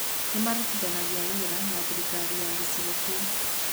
Nĩ maarutithanagia wĩra na thirikari ya gĩcigo kĩu.